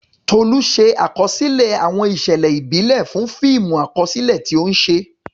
Tolu ṣe àkọsílẹ̀ àwọn ìṣẹ̀lẹ̀ ìbílẹ̀ fún fíìmù àkọsílẹ̀ tí ó ń ṣe.